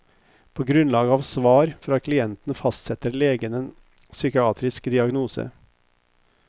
På grunnlag av svar fra klienten fastsetter legen en psykiatrisk diagnose.